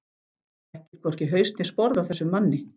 Þekkir hvorki haus né sporð á þessum manni.